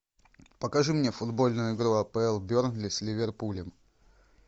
покажи мне футбольную игру апл бернли с ливерпулем